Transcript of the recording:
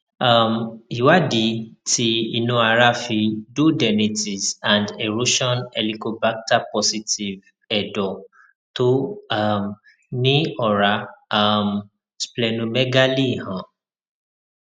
um ìwádìí ti inu ara fi duodenitis and erosion helicobacter positive edo to um ni ora um splenomegaly han